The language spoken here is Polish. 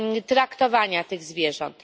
traktowania tych zwierząt.